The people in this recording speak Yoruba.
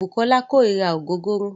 Bùkọ́lá kórira ògógóró.